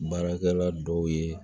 Baarakɛla dɔw ye